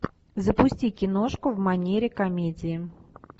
запусти киношку в манере комедии